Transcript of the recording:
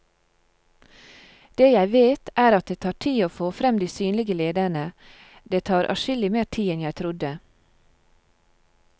Det jeg vet, er at det tar tid å få frem de synlige lederne, det tar adskillig mer tid enn jeg trodde.